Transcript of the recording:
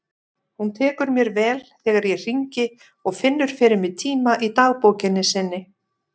Hún tekur mér vel þegar ég hringi og finnur fyrir mig tíma í dagbókinni sinni.